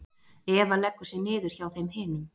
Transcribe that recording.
Eva leggur sig niður hjá þeim hinum.